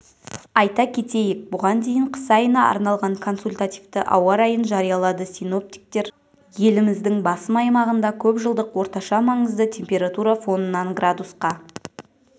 айта кетейік бұған дейін қыс айына арналған консультативті ауа-райын жариялады синоптиктер еліміздің басым аймағында көпжылдық орташа маңызды температура фонынан градусқа